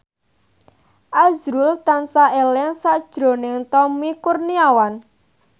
azrul tansah eling sakjroning Tommy Kurniawan